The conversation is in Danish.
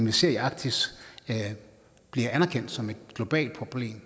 vi ser i arktis bliver anerkendt som et globalt problem